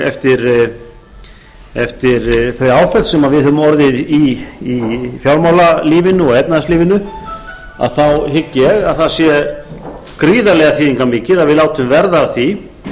eftir þau áföll sem við höfum orðið í fjármálalífinu og efnahagslífinu hygg ég að það sé gríðarlega þýðingarmikið að við látum verða af því